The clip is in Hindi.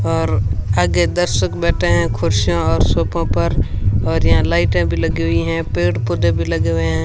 और आगे दर्शक बैठे हैं कुर्सियां और सोफो पर और यहां लाइटें भी लगी हुई हैं पेड़ पौधे भी लगे हुए हैं।